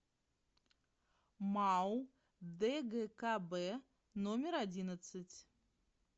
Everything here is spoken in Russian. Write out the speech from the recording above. мау дгкб номер одиннадцать